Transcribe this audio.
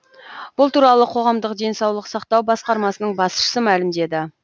бұл туралы қоғамдық денсаулық сақтау басқармасының басшысы мәлімдеді